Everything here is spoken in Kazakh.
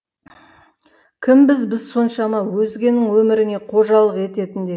кімбіз біз соншама өзгенің өміріне қожалық ететіндей